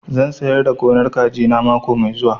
Zan sayar da gonar kaji na mako mai zuwa